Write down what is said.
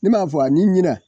Ne m'a fɔ ani ɲinɛ